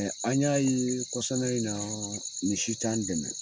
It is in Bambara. An y'a ye kɔsana in na nin si t'an dɛmɛ